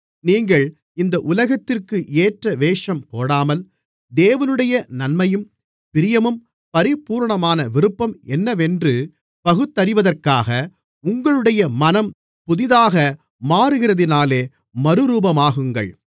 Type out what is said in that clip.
நீங்கள் இந்த உலகத்திற்கேற்ற வேஷம் போடாமல் தேவனுடைய நன்மையும் பிரியமும் பரிபூரணமுமான விருப்பம் என்னவென்று பகுத்தறிவதற்காக உங்களுடைய மனம் புதிதாக மாறுகிறதினாலே மறுரூபமாகுங்கள்